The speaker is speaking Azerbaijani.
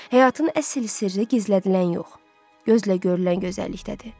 Həyatın əsl sirri gizlədilən yox, gözlə görünən gözəllikdədir.